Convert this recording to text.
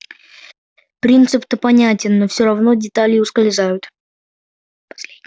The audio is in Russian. принцип-то понятен но все равно детали ускользают